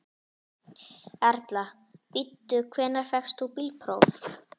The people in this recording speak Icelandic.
Erla: Bíddu, hvenær fékkst þú bílpróf?